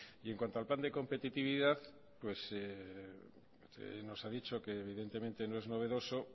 y en cuanto al plan de competitividad pues nos ha dicho que evidentemente no es novedoso